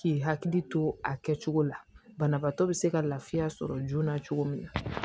K'i hakili to a kɛcogo la banabaatɔ be se ka lafiya sɔrɔ joona cogo min na